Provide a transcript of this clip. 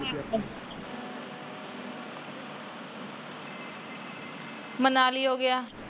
ਮਨਾਲੀ ਹੋ ਗਿਆ।